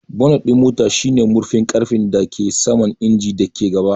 Bonnet ɗin mota shine murfin ƙarfe da ke saman injin da ke gaba.